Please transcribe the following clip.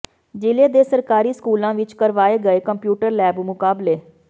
ਜ਼ਿਲ੍ਹੇ ਦੇ ਸਰਕਾਰੀ ਸਕੂਲਾਂ ਵਿਚ ਕਰਵਾਏ ਗਏ ਕੰਪਿਊਟਰ ਲੈਬ ਮੁਕਾਬਲੇ